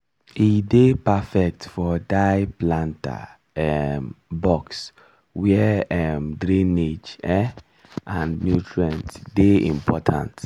e dey perfect for diy planter um box where um drainage um and nutrient dey important